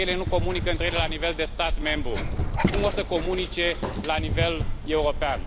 Dacă ele nu comunică între ele la nivel de stat membru, cum o să comunice la nivel european?